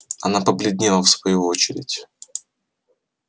она побледнела в свою очередь